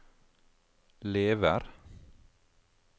lever